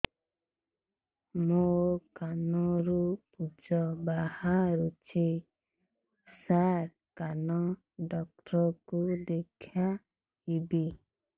ମୋ କାନରୁ ପୁଜ ବାହାରୁଛି ସାର କାନ ଡକ୍ଟର କୁ ଦେଖାଇବି